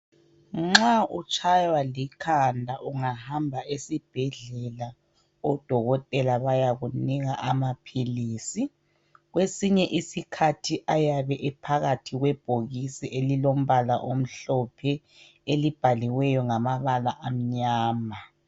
Nxa utshaywa likhanda ungahamba esibhedlela. Odokotela bayakunika amaphilisi, kwesinye isikhathi ayabe ephakathi kwebhokisi elilombala omhlophe elibhaliweyo ngamabala amnyama.